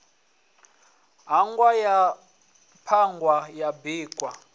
ṱhahwa ya ṱhuhwa ya bikwa